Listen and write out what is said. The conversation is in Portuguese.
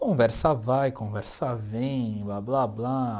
Conversa vai, conversa vem, blá, blá, blá.